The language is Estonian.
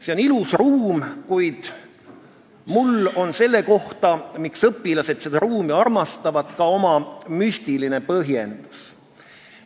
See on ilus ruum, kuid mul on selle kohta, miks õpilased seda ruumi armastavad, ka oma müstiline põhjendus.